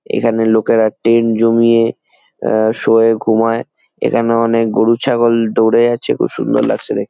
এখানে লোকেরা টেন্ জমিয়ে শোয় ঘুমায় এখানে অনেক গরু ছাগল দৌড়ে যাচ্ছে খুব সুন্দর লাগছে দেখতে।